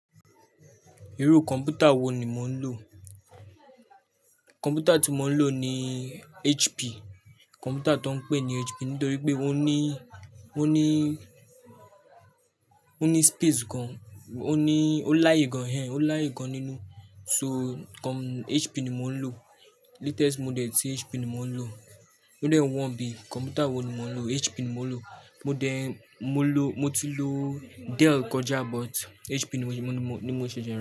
Irú kọ̀m̀pútà wo ni mọ ń lò? Kọ̀m̀pútà tí mo ń lò ni HP, kọ̀m̀pútà tó ń pè ní HP nítorí pé ó ní, ó ní, ó ní space gan, ó ní, ó láàyè gan hen, ó láàyè gan nínú. So kọ̀m-- HP ni mo ń lò. Latest model tí HP ni mo ń lò. Model 1B. Kọ̀m̀pútà wo ni mọ ń lò? HP ni mọ ń lò. Model mo lò, mo ti lò Dell kọjá but HP ni, ni mo ń ṣe jẹ.